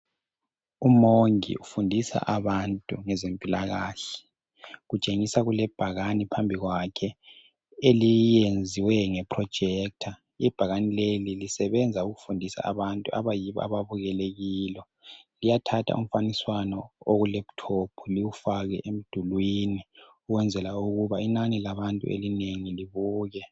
Umongi ufundisa abantu ngezempilakahle utshengisa kulebhakane phambi kwakhe elezwe ngeprojector. Ibhakane leli lisebenza ukufundisa abantu abayilo ababukele kilo liyathatha umfaniswana okulaptop liwufake emdulwini kwenzela ukuthi inani labantu elinengi libone.